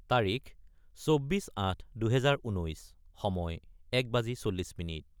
: তাৰিখ 24-08-2019 : সময় 1340